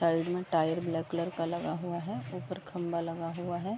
Side में tyre black colour का लगा हुआ है। ऊपर खंभा लगा हुआ है।